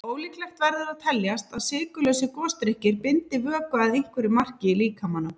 Ólíklegt verður að teljast að sykurlausir gosdrykkir bindi vökva að einhverju marki í líkamanum.